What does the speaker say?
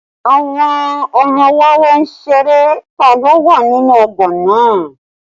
Àwọn ọmọ wẹ́wẹ́ ń ṣeré tá ló wà nínú ọgbà náà